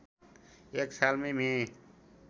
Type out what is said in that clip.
एक सालमै मे